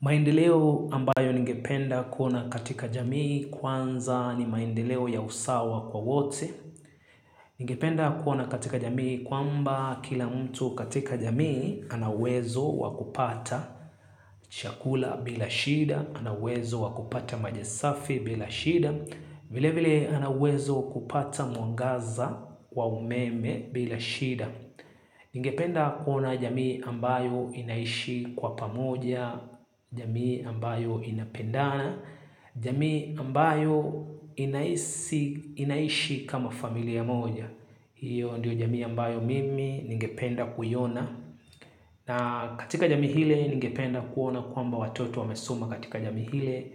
Maendeleo ambayo ningependa kuona katika jamii kwanza ni maendeleo ya usawa kwa wote. Ningependa kuona katika jamii kwamba kila mtu katika jamii anauwezo wakupata chakula bila shida, anauwezo wakupata majisafi bila shida, vile vile anawezo kupata mwangaza wa umeme bila shida. Ningependa kuona jamii ambayo inaishi kwa pamoja, jamii ambayo inapendana, jamii ambayo inaishi kama familia moja. Hiyo ndio jamii ambayo mimi ningependa kuiona. Na katika jamii ile ningependa kuona kwamba watoto wamesoma katika jamii ile,